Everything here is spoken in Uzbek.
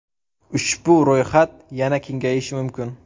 Ushbu ro‘yxat yana kengayishi mumkin.